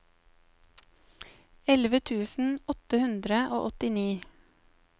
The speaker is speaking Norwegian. elleve tusen åtte hundre og åttini